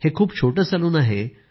हे खूप छोटं सलून आहे